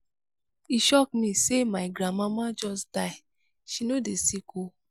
e shock me sey my grandmama just die she no dey sick o.